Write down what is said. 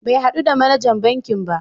Bai haɗu da manajan bankin ba.